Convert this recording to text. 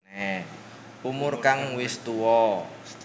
Umur kang wis tuwa